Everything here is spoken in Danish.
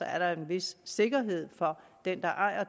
er der er en vis sikkerhed for den der ejer